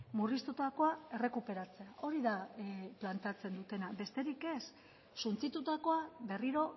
murriztutakoa errekuperatzea hori da planteatzen dutena besterik ez suntsitutakoa berriro